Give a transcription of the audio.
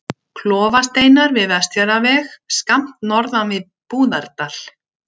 Klofasteinar við Vestfjarðaveg, skammt norðan við Búðardal.